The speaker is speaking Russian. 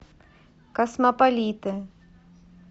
космополиты